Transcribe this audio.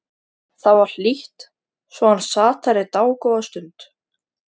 Það var hlýtt svo hann sat þar í dágóða stund.